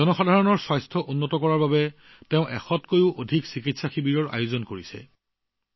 তেওঁ স্বাস্থ্য সম্পৰ্কীয় সেৱাৰ বাবে এশৰো অধিক চিকিৎসা শিবিৰৰ ব্যৱস্থা কৰিছে